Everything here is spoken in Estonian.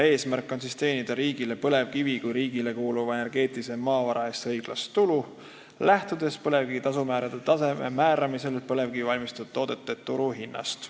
Eesmärk on teenida riigile põlevkivi kui riigile kuuluva energeetilise maavara eest õiglast tulu, lähtudes põlevkivi tasumäärade tasemete määramisel põlevkivist valmistatud toodete turuhinnast.